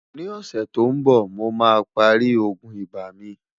ní ọ̀sè tó ǹ bó, mò má pá rí ògún ibà mí